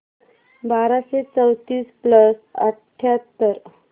बाराशे चौतीस प्लस अठ्याहत्तर